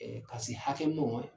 Ɛɛ ka se hakɛ